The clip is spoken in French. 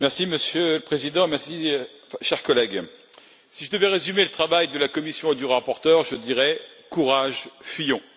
Monsieur le Président, chers collègues, si je devais résumer le travail de la Commission et du rapporteur, je dirais courage, fuyons!